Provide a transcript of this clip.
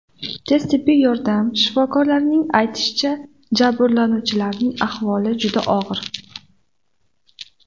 Tez tibbiy yordam shifokorlarining aytishicha, jabrlanuvchilarning ahvoli juda og‘ir.